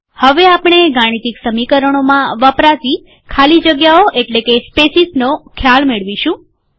હવે આપણે ગાણિતીક સમીકરણોમાં વપરાતી ખાલી જગ્યાઓ એટલે કે સ્પેસીસનો ખ્યાલ મેળવીશું